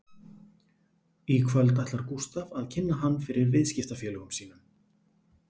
Í kvöld ætlar Gústaf að kynna hann fyrir viðskiptafélögum sínum